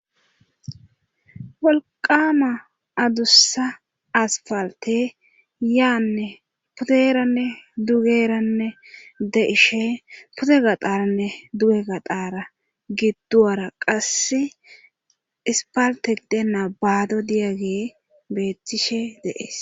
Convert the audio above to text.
wolqama adussa aspalte yaanne puderanne dugeranne de'ishe pude gaxaranne duge gaxara gidduwara qasse ispalte gidenna baado diyage beettishe de'ees